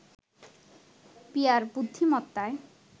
peer বুদ্ধিমত্তায়